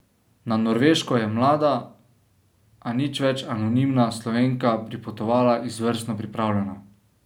Na Norveško je mlada, a nič več anonimna Slovenka pripotovala izvrstno pripravljena.